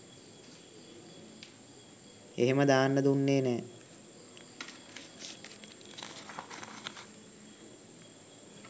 එහෙම දාන්න දුන්නේ නෑ.